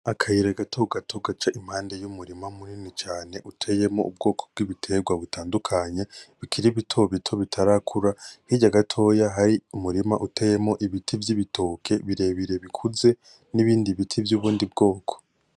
Akayira gato gato gaca impande y’umurima munini cane uteyemwo ubwoko bw’ibiterwa butandukanye , bikiri bitobito bitarakura , hirya gatoya hari umurima uteyemwo ibiti vy’ibitoke birebire bikuze n’ibindi biti vy’ubundi bwoko.